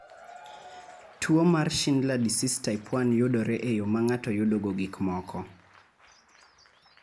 Tuo mar Schindler disease type 1 yudore e yo ma ng�ato yudogo gik moko.